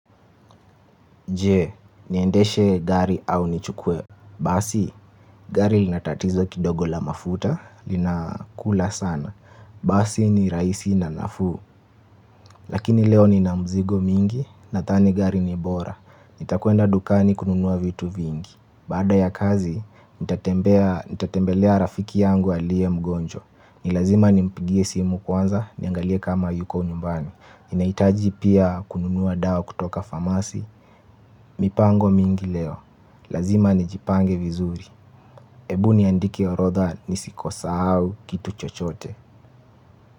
Jee, niendeshe gari au nichukwe. Basi, gari linatatizo kidogo la mafuta, lina kula sana. Basi ni raisi na nafuu. Lakini leo nina mzigo mingi, nathani gari ni bora. Nitakuenda dukani kununuwa vitu vingi. Baada ya kazi, nitatembelea rafiki yangu alie mgonjwa. Ni lazima nimpigie simu kwanza, niangalie kama yuko nyumbani ninaitaji pia kununua dawa kutoka famasi. Mipango mingi leo, lazima nijipange vizuri. Ebu niandike orodha nisikosa au kitu chochote.